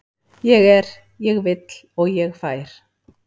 Ég er, ég vill og ég fær.